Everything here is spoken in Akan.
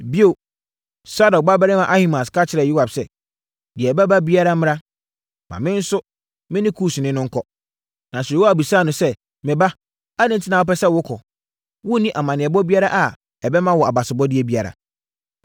Bio, Sadok babarima Ahimaas ka kyerɛɛ Yoab sɛ, “Deɛ ɛbɛba biara mmra, ma me ne Kusni no nkɔ.” Nanso, Yoab bisaa no sɛ, “Me ba, adɛn enti na wopɛ sɛ wokɔ? Wonni amanneɛbɔ biara a ɛbɛma wo abasobɔdeɛ biara.”